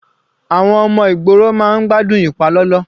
Àwọn ọmọ ìgboro máa ń gbádùn ìpalọlọ.